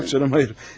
Yox, canım, hayır.